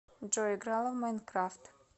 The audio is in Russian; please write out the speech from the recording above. джой играла в майнкрафт